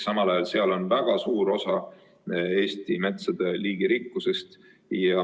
Samal ajal on seal väga suur osa Eesti metsade liigirikkusest.